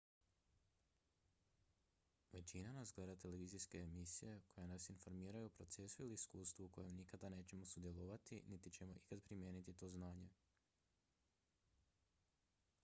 većina nas gleda televizijske emisije koje nas informiraju o procesu ili iskustvu u kojem nikada nećemo sudjelovati niti ćemo ikad primijeniti to znanje